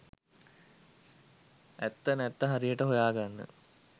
ඇත්ත නැත්ත හරියට හොයාගන්න